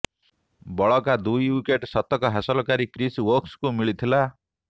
ବଳକା ଦୁଇ ଓ୍ବିକେଟ୍ ଶତକ ହାସଲକାରୀ କ୍ରିସ୍ ଓକ୍ସଙ୍କୁ ମିଳିଥିଲା